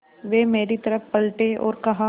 वे मेरी तरफ़ पलटे और कहा